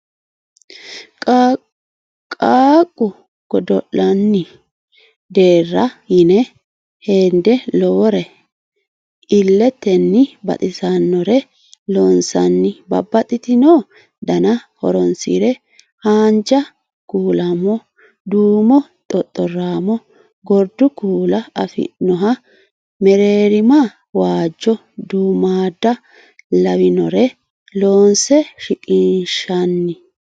Qaaqqu godo'lannni deara yine hende lowore iletenni baxisanore loonsanni babbaxxino dana horonsine haanja kulamo duumo xoxoramo gordu kula afi'noha mereerima waajo ,duummada lawinore loonse shiqqinshanni.